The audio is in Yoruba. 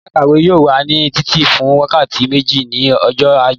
Yàrá ìkàwé yóò wà ní títì fún wákàtí méjì ní ọjọ́ ajé.